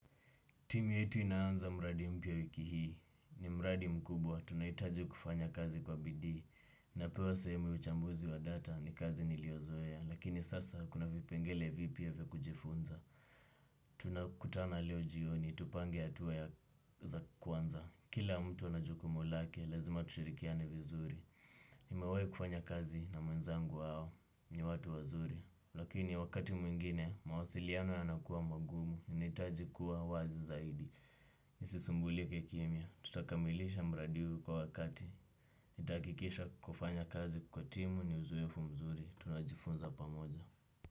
Timu yetu inaanza mradi mpya wiki hii. Ni mradi mkubwa, tunahitaji kufanya kazi kwa bidii. Napewa sehemu ya uchambuzi wa data ni kazi niliyozoea, lakini sasa kuna vipengele vipya vya kujifunza. Tunakutana leo jioni, tupange hatua za kwanza, kila mtu anajukumu lake, lazima tushirikiane vizuri. Nimewai kufanya kazi na mwenzangu wao, ni watu wazuri. Lakini wakati mwingine, mawasiliano ya nakuwa magumu, nahitaji kuwa wazi zaidi. Nisisumbulike kimya, tutakamilisha mradi huu kwa wakati nitahakikisha kufanya kazi kwa timu ni uzoefu mzuri. Tunajifunza pamoja.